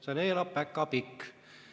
Seal elab päkapikk.